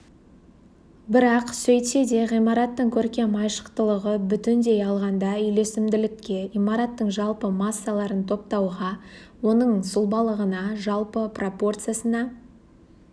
бірақ сөйтсе де ғимараттың көркем айшықтылығы бүтендей алғанда үйлесімділікке имараттың жалпы массаларын топтауға оның сұлбалығына жалпы пропорциясына